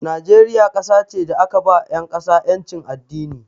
Najeriya kasa ce da aka ba 'yan ƙasa 'yancin addini.